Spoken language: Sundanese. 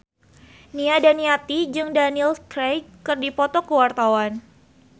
Nia Daniati jeung Daniel Craig keur dipoto ku wartawan